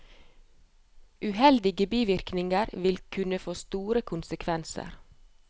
Uheldige bivirkninger vil kunne få store konsekvenser.